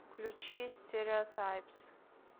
включи стереотайпс